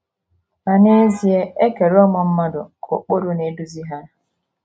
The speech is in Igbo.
Ma n’ezie, e kere ụmụ mmadụ ka ụkpụrụ na - eduzi ha.